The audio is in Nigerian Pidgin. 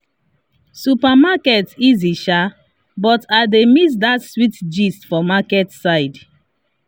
supermarket easy sha but i dey miss that sweet gist for market side.